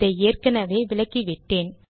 இதை ஏற்கெனெவே விளக்கிவிட்டேன்